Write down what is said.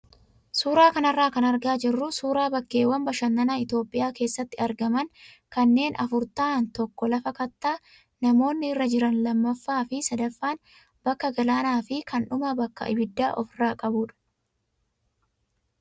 Suuraa kanarraa kan argaa jirru suuraa bakkeewwan bashannanaa Itoophiyaa keessatti argaman kanneen afur ta'an tokko lafa kattaa namoonni irra jiran lammaffaa fi sadaffaan bakka galaanaa fi kan dhumaa bakka abidda ofirraa qabudha.